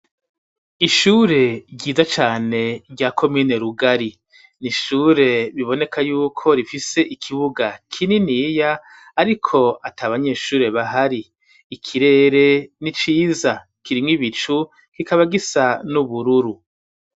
Ishure ryiza cane rya komine rugari ,nishure biboneka yuko rifise ikibuga kininiya ,ariko at'abanyeshure bahari ikirere n'iciza kirimw 'ibicu kikaba gisa n'ubururu.